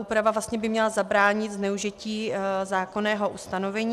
Úprava by měla zabránit zneužití zákonného ustanovení.